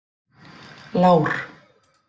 Lár